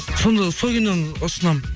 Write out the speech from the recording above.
сонда сол киноны ұсынамын